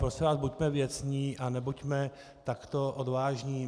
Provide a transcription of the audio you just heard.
Prosím vás, buďme věcní a nebuďme takto odvážní.